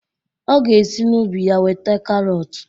Ọ ga esi n'ubi ya weta karọt